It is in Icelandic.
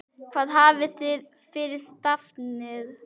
Hvað hafið þið fyrir stafni?